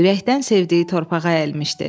ürəkdən sevdiyi torpağa əyilmişdi.